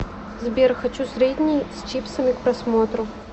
сбер хочу средний с чипсами к просмотру